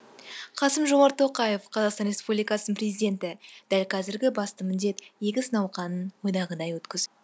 қасым жомарт тоқаев қазақстан республикасының президенті дәл қазіргі басты міндет егіс науқанын ойдағыдай өткізу